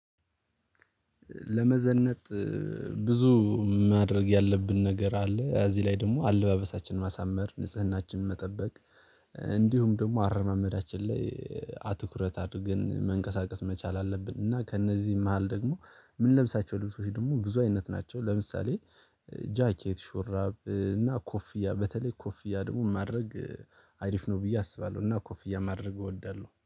ለመዘነጥ ብዙ ማድረግ ያለብን ነገር አለ እዚህ ላይ ደግሞ አለባበሳችንን ማሳመር ንጽህናችንን መጠበቅ። እንዲሁም ደግሞ አረማመዳችን ላይ አትኩረት አድርገን መንቀሳቀስ መቻል አለብን። እና ከእነዚህ መሃል ደግሞ ምንለብሳቸው ልብሶች ደግሞ ብዙ አይነት ናቸው። ለምሳሌ ጃኬት ሹራብ እና ኮፍያ በተለይ ኮፍያ ደግሞ ማድረግ አሪፍ ነው ብዬ አስባለሁ። ኮፍያ እያማረግ እወዳለሁ